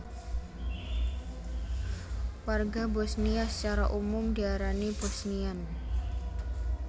Warga Bosniya sacara umum diarani Bosniyan